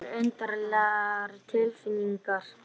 Einhverjar undarlegar tilfinningar.